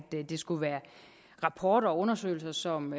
det skulle være rapporter og undersøgelser som